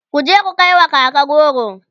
kuje ku kaiwa kaka goro!